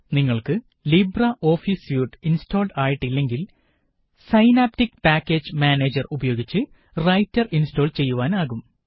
നിങ്ങള്ക്ക് LibreOffice suite installed ആയിട്ട് ഇല്ലെങ്കില് സൈനാപ്റ്റിക് പാക്കേജ് മാനേജര് ഉപയോഗിച്ച് റൈറ്റര് ഇന്സ്റ്റാള് ചെയ്യുവാനാകും